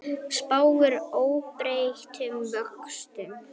Spáir óbreyttum vöxtum